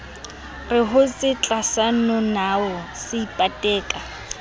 re hotse tlasayonao se ipateka